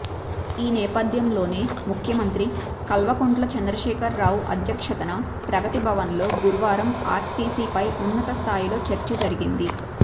ఈ నేపథ్యంలోనే ముఖ్యమంత్రి కల్వకుంట్ల చంద్రశేఖర్ రావు అధ్యక్షతన ప్రగతి భవన్లో గురువారం ఆర్టీసీపై ఉన్నత స్థాయిలో చర్చ జరిగింది